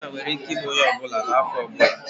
Eczema nwere ike ime onye ọ bụla n'afọ ọ bụla